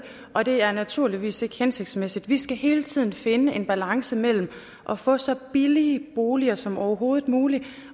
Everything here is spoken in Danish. og det er naturligvis ikke hensigtsmæssigt vi skal hele tiden finde en balance mellem at få så billige boliger som overhovedet muligt